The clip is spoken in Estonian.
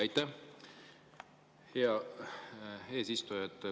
Aitäh, hea eesistuja!